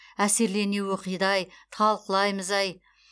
әсерлене оқиды ай талқылаймыз ай